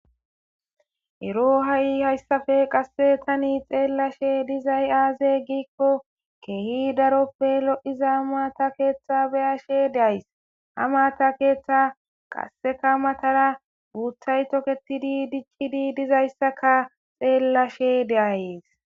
Ero ha'i hayssappe qase tani xeelashe dizaysi aze gikko kehi daroppe lo'iza maata keetha be'ashe de'ays. Ha maata keetha qasekka matara uuththay toketidi dic'idi dizayssakka xelishe de'ays.